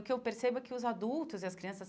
O que eu percebo é que os adultos e as crianças